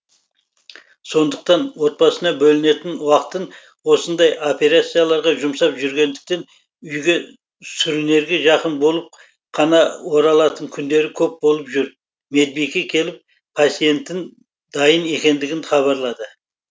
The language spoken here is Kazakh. сондықтан отбасына бөлінетін уақытын осындай операцияларға жұмсап жүргендіктен үйге сүрінерге жақын болып қана оралатын күндері көп болып жүр медбике келіп пациенттің дайын екендігін хабарлады